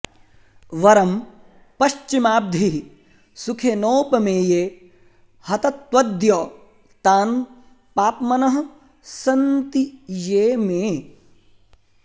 वरं पश्चिमाब्धि सुखेनोपमेये हतत्वद्य तान् पाप्मनः सन्ति ये मे